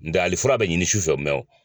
N tɛ hali fura bɛ ɲini sufɛ